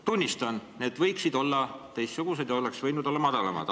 Tunnistan, et need aktsiisid võiksid olla teistsugused ja võiksid olla madalamad.